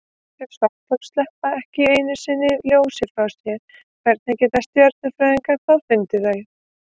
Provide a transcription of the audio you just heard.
Ef svarthol sleppa ekki einu sinni ljósi frá sér, hvernig geta stjörnufræðingar þá fundið þau?